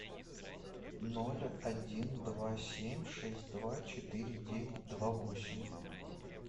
ноль один два семь шесть два четыре девять два восемь